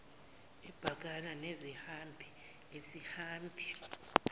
ebhekana nezihambi isihambi